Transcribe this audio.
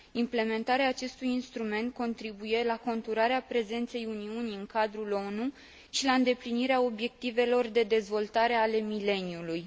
Implementarea acestui instrument contribuie la conturarea prezenței Uniunii în cadrul ONU și la îndeplinirea obiectivelor de dezvoltare ale mileniului.